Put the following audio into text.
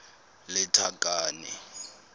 lethakane